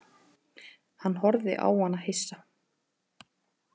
Hann horfði á hana hissa.